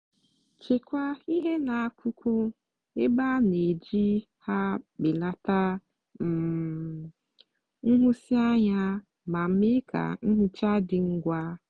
chekwaa ihe n'akụkụ ebe a na-eji ha belata um nhụsianya ma mee ka nhicha dị ngwa.